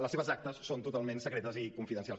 les seves actes són totalment secretes i confidencials